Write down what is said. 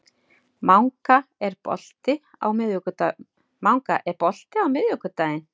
Manga, er bolti á miðvikudaginn?